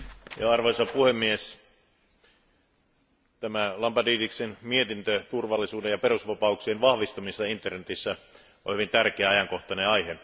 Arvoisa puhemies, tämä Lambrinidisin mietintö turvallisuuden ja perusvapauksien vahvistamisesta internetissä on hyvin tärkeä ja ajankohtainen aihe.